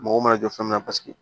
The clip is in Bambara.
Mɔgɔw mana jɔ fɛn mun na paseke